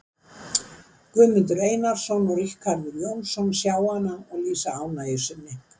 Guðmundur Einarsson og Ríkarður Jónsson sjá hana og lýsa ánægju sinni.